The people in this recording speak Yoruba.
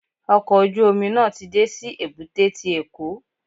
Ọkọ̀ ojú omi náà ti dé sí èbúté ti Èkó.